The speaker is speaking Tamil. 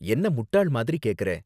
என்ன முட்டாள் மாதிரி கேக்கற?